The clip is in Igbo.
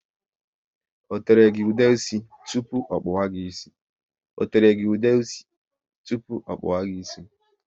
O tere gị ude ísì tụpụ ọ kpawa gị ịsị?